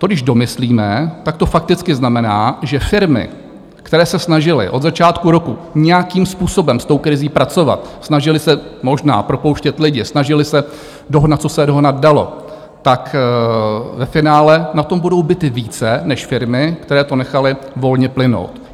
To když domyslíme, tak to fakticky znamená, že firmy, které se snažily od začátku roku nějakým způsobem s tou krizí pracovat, snažily se možná propouštět lidi, snažily se dohnat, co se dohnat dalo, tak ve finále na tom budou bity více než firmy, které to nechaly volně plynout.